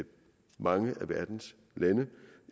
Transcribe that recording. mange af verdens lande